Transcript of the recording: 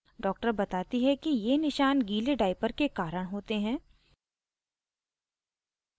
doctor बताती है कि ये निशान गीले diaper के कारण होते हैं